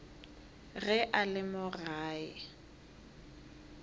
ge a le mo gae